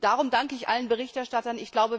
Darum danke ich allen Berichterstattern.